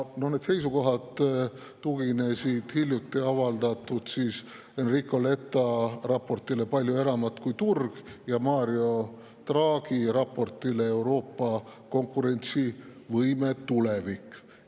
Need seisukohad tuginevad hiljuti avaldatud Enrico Letta raportile "Palju enamat kui turg" ja Mario Draghi raportile "Euroopa konkurentsivõime tulevik".